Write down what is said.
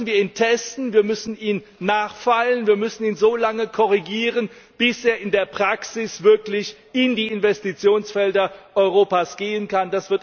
Aber dann müssen wir ihn testen, wir müssen ihn nachfeilen, wir müssen ihn so lange korrigieren, bis er in der Praxis wirklich in die Investitionsfelder Europas gehen kann.